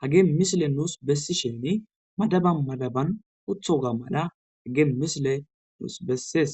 hage misile nuus bessi shemi madaba madaban othoga mala hage misile nuus bessees